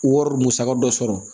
Wari musaka dɔ sɔrɔ